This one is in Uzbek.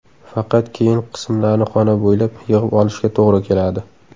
Faqat keyin qismlarni xona bo‘ylab yig‘ib olishga to‘g‘ri keladi.